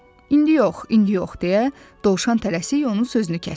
İndi yox, indi yox deyə Dovşan tələsik onun sözünü kəsdi.